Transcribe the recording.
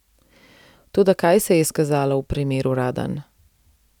Toda kaj se je izkazalo v primeru Radan?